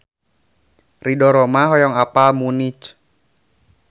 Ridho Roma hoyong apal Munich